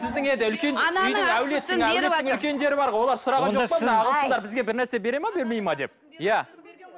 сіздің енді үлкен әулеттің әлеттің үлкендері бар ғой олар сұраған жоқ па ағылшындар бізге бір нәрсе береді ме бермейді ме деп иә